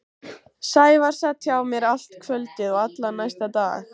Sævar sat hjá mér allt kvöldið og allan næsta dag.